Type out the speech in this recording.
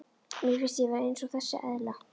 Mér finnst ég vera eins og þessi eðla.